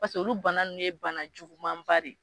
Paseke olu bana ninnu ye bana juguman ba de ye.